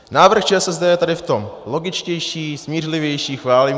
Návrh ČSSD je tady v tom logičtější, smířlivější, chválím -